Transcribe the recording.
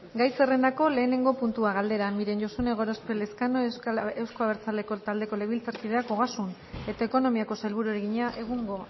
gai zerrendako lehenengo puntua galdera miren josune gorospe elezkano euzko abertzaleak taldeko legebiltzarkideak ogasun eta ekonomiako sailburuari egina egungo